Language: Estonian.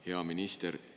Hea minister!